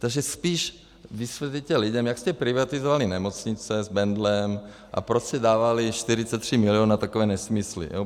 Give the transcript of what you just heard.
Takže spíš vysvětlete lidem, jak jste privatizovali nemocnice s Bendlem a proč jste dávali 43 milionů na takové nesmysly.